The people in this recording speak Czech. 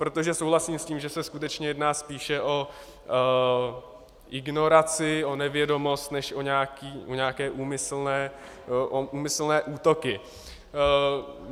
Protože souhlasím s tím, že se skutečně jedná spíše o ignoranci, o nevědomost než o nějaké úmyslné útoky.